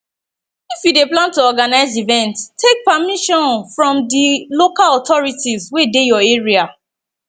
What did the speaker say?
if you dey plan to organise event take permission from di local authorities wey dey your area